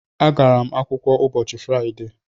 Agara m akwụkwọ ụbọchị Fraịde